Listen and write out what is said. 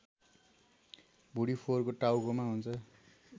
भुँडीफोरको टाउकोमा हुन्छ